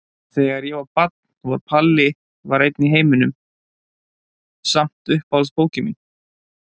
Þegar ég var barn var Palli var einn í heiminum samt uppáhaldsbókin mín.